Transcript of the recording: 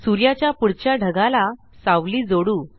सूर्याच्या पुढच्या ढगाला सावली जोडू